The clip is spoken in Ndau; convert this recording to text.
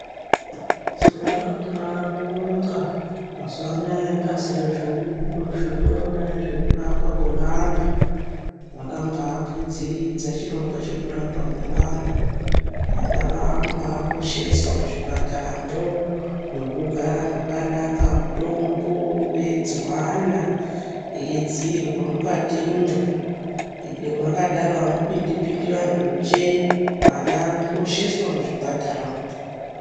Tinoda kumbaabonga mazuwa anaya bazi rinoona ngezvekurapwa kwevana bakambaakwidziridza chirongwa chekurapwa kwevana. Vana vakumbaakosheswa muzvipataramwo mwekugara mwakanaka, mutombo veidziwana, veidziirwa mukatimwo ende mwakadaro amupindi pindi vanthunje. Vana vanokosheswa muzvipatara.